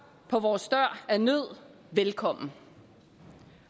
på vores dør af nød velkommen